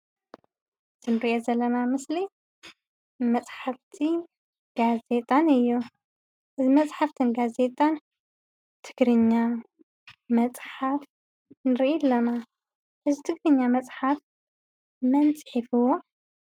እቲ ንሪኦ ዘለና ምስሊ መፃሕፍቲ ጋዜጣን እዮም፡፡ መፃሕፍትን ጋዜጣን ትግርኛ መፅሓፍ ንርኢ ኣለና፡፡ እዚ ትግርኛ መፅሓፍ መን ፅሒፍዎ?